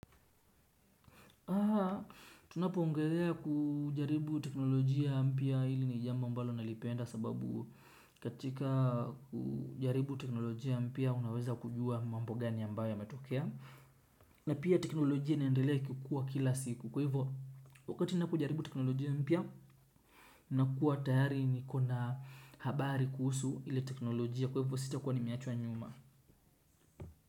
Aa, tunapoongelelea kujaribu teknolojia mpya hili ni jambo ambalo nalipenda sababu katika kujaribu teknolojia mpya unaweza kujua mambo gani ambayo yametokea. Na pia teknolojia inaendelea ikikua kila siku kwa hivyo, wakati napojaribu teknolojia mpya nakuwa tayari niko na habari kuhusu ile teknolojia kwa hivyo sitakuwa nimeachwa nyuma.